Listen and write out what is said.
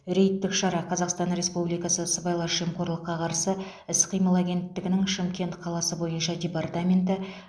рейдтік шара қазақстан республикасы сыбайлас жемқорлыққа қарсы іс қимыл агенттігінің шымкент қаласы бойынша департаменті